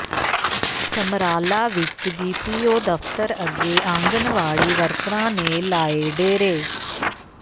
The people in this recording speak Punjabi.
ਸਮਰਾਲਾ ਵਿੱਚ ਬੀਪੀਓ ਦਫ਼ਤਰ ਅੱਗੇ ਆਂਗਣਵਾੜੀ ਵਰਕਰਾਂ ਨੇ ਲਾਏ ਡੇਰੇ